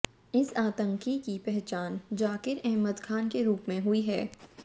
इस आतंकी की पहचान जाकिर अहमद खान के रूप में हुई है